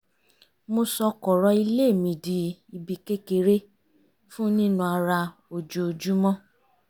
mo sọ kọ̀rọ̀ ilé mi di ibi kékeré fún nína ara ojoojúmọ́